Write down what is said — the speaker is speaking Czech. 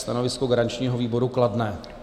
Stanovisko garančního výboru kladné.